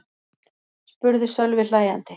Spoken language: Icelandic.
spurði Sölvi hlæjandi.